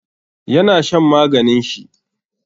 Ya na shan maganin shi.